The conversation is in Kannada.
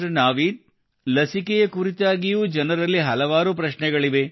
ನಾವೀದ್ ಲಸಿಕೆಯ ಕುರಿತಾಗಿಯೂ ಜನರಲ್ಲಿ ಹಲವಾರು ಪ್ರಶ್ನೆಗಳಿವೆ